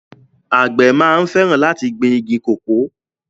Àgbẹ̀ máa ń fẹràn láti gbìn igi kòkó